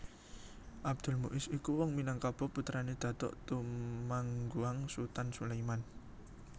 Abdul Muis iku wong Minangkabau putrané Datuk Tumangguang Sutan Sulaiman